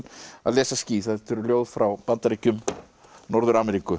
að lesa ský þetta eru ljóð frá Bandaríkjunum Norður Ameríku